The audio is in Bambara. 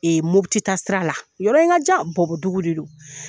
Ee motita sira la yɔrɔ in ka ja bɔbodugu de don